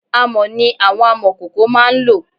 Amọ̀ ni àwọn amọ̀kòkò máá ń lò